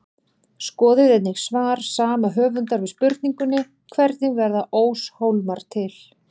Skoðið einnig svar sama höfundar við spurningunni Hvernig verða óshólmar til?